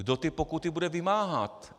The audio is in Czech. Kdo ty pokuty bude vymáhat?